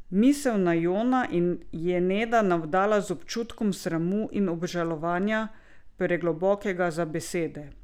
Misel na Jona je Neda navdala z občutkom sramu in obžalovanja, preglobokega za besede.